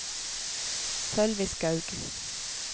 Sølvi Skaug